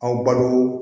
Aw balo